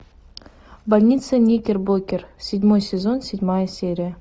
больница никербокер седьмой сезон седьмая серия